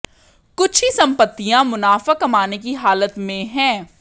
कुछ ही संपत्तियां मुनाफा कमाने की हालत में हैं